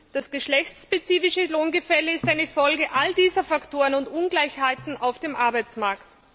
Das geschlechtsspezifische Lohngefälle ist eine Folge all dieser Faktoren und Ungleichheiten auf dem Arbeitsmarkt.